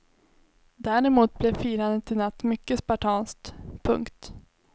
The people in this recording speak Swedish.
Däremot blev firandet i natt mycket spartanskt. punkt